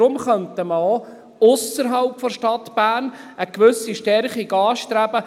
Deshalb könnte man auch ausserhalb der Stadt Bern eine gewisse Stärkung anstreben.